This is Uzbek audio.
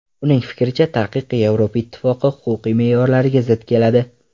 Uning fikricha, taqiq Yevropa ittifoqi huquqiy me’yorlariga zid keladi.